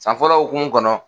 San fɔlɔ hukumu kɔnɔ